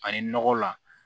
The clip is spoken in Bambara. Ani nɔgɔ la